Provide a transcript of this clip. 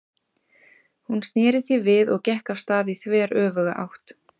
Hún sneri því við og gekk af stað í þveröfuga átt.